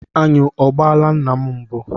Aṅụ ọ gbaala nna m mbụ?